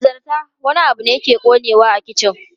Hanzarta, wani abu na ƙonewa a kicin!